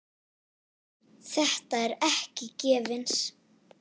Þetta er ekki gefins.